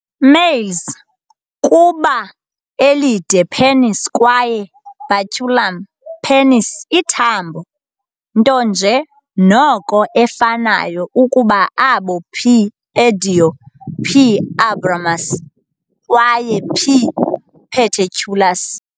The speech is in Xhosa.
Males kuba elide penis kwaye baculum, penis ithambo, nto nje noko efanayo ukuba abo "P. endoi", "P. abramus" kwaye "P. paterculus".